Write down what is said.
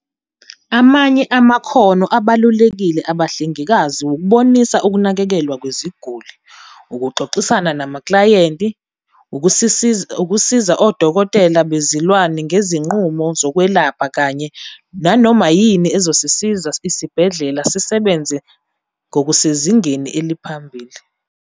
"Amanye amakhono abalulekile abahlengikazi wukubonisa ukunakekelwa kweziguli, ukuxoxisana namaklayenti, ukusiza odokotela bezilwane ngezinqubo zokwelapha, kanye nanoma yini ezosiza isibhedlela sezilwane sisebenze ngokusezingeni eliphambili.